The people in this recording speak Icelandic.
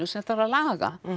sem þarf að laga